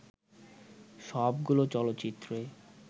সবগুলো চলচ্চিত্রে